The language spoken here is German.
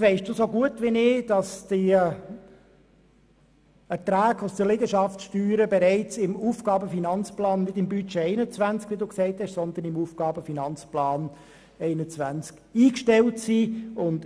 weiss so gut wie ich, dass die Erträge aus den Liegenschaftssteuern nicht im Budget, sondern im AFP 2021 bereits eingestellt sind.